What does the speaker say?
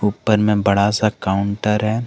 उपर मेबड़ा सा काउंटर है।